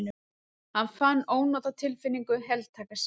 Hann fann ónotatilfinningu heltaka sig.